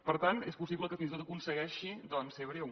per tant és possible que fins i tot aconsegueixi doncs ser breu